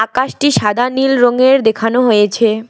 আকাশটি সাদা নীল রঙের দেখানো হয়েছে।